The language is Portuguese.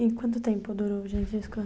E quanto tempo durou?